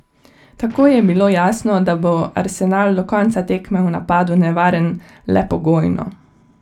Takoj je bilo jasno, da bo Arsenal do konca tekme v napadu nevaren le pogojno.